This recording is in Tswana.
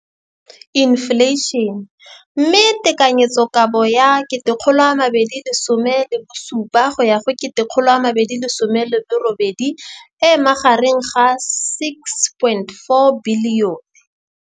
Infleišene, mme tekanyetsokabo ya 2017, 18, e magareng ga R6.4 bilione.